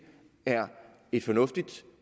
er et fornuftigt